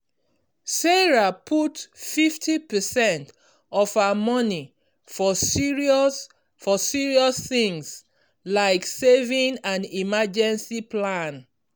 sarah put fifty percentage of her money for serious for serious things like saving and emergency plan.